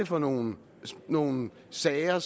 for nogle nogle sager